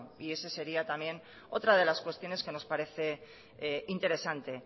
y esa sería también otra de las cuestiones que nos parece interesante